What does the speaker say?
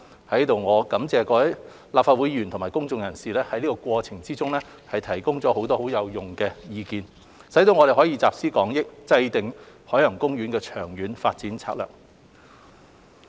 我在此感謝各位立法會議員和公眾人士在過程中提供了不少有用的意見，使我們能集思廣益，制訂海洋公園的長遠發展策略。